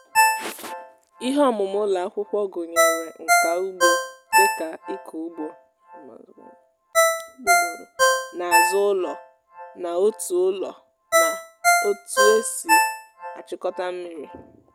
ihe ọmụmụ ụlọ akwụkwọ gụnyere nka ugbo dịka ịkụ ugbo n’azụ ụlọ na otu ụlọ na otu esi achịkọta mmiri.